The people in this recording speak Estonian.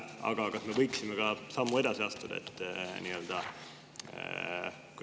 Aga kas me võiksime ka sammu edasi astuda?